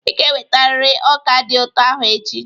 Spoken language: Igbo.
Ị ga-ewetarịrị ọka dị ụtọ ahụ echi!